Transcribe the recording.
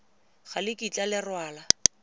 ga le kitla le rwala